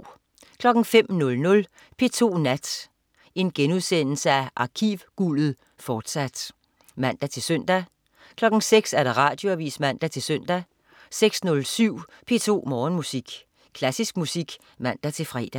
05.00 P2 Nat. Arkivguldet, fortsat* (man-søn) 06.00 Radioavis (man-søn) 06.07 P2 Morgenmusik. Klassisk musik (man-fre)